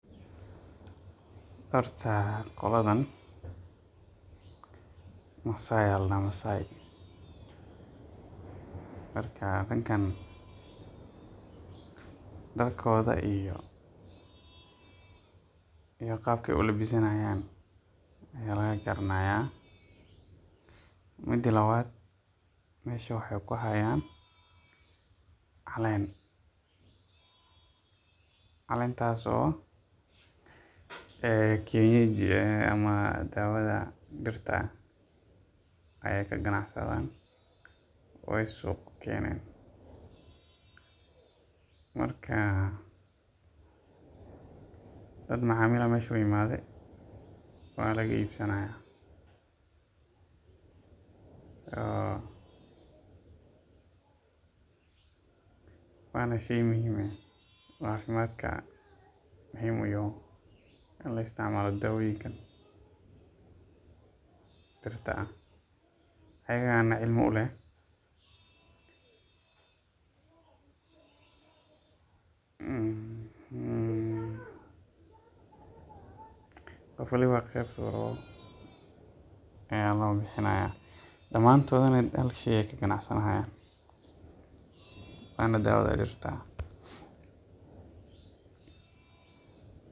Horta qoladan masaay ayaa ladahaa, marka dadkan darkooda iyo qaabka aay ulabisanaayan ayaa laga garanaaya, mida labaad meesha waxaay ku haayan caleen, caleentaas oo ah kenyeji ama dawada dirta ah ayeey ka ganacsadaan, waay suuq keenen, marka dad macamil ayaa meesha u imaade, waa laga iibsanaya, waana sheey muhiim ah oo cafimaadka muhiim uyahay in la isticmaalo dawoyinkan, dirta ah ayaga ayaana cilmi uleh, qof waliba qeebta uu rabo ayaa loo bixinaaya, damaantoodna hal sheey ayeey ka ganacsanayan.